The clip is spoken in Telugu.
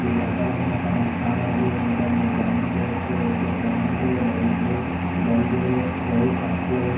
వివిధ రకాల కరెంటు సమన్లు ఉండడం మీరు గమనించవచ్చు ఇక్కడ ఫ్యాన్ లు లైట్ లు బలుబులు వైర్ కట్లు.